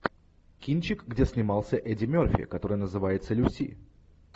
кинчик где снимался эдди мерфи который называется люси